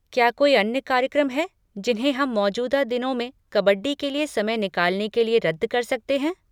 क्या कोई अन्य कार्यक्रम हैं जिन्हें हम मौजूदा दिनों में कबड्डी के लिए समय निकालने के लिए रद्द कर सकते हैं?